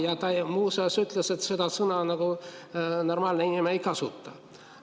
Ja ta muuseas ütles, et seda sõna normaalne inimene ei kasuta.